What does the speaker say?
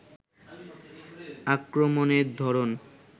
আক্রমণের ধরন